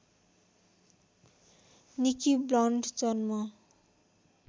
Nikki Blond जन्म